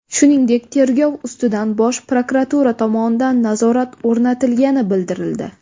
Shuningdek, tergov ustidan Bosh prokuratura tomonidan nazorat o‘rnatilgani bildirildi.